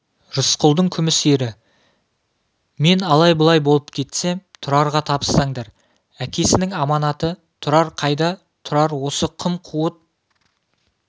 рысқұлдың күміс ері мен алай-бұлай болып кетсем тұрарға табыстаңдар әкесінің аманаты тұрар қайда тұрар осы қым-қуыт